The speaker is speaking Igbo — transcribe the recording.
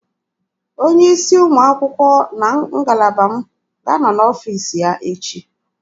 Onye isi ụmụ akwụkwọ na ngalaba m ga-anọ n'ọfiisi ya echi